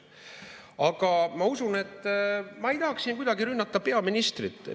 Aga ma ei tahaks siin kuidagi rünnata peaministrit.